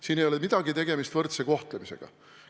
Siin ei ole midagi tegemist võrdse kohtlemisega.